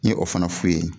N ye o fana f'u ye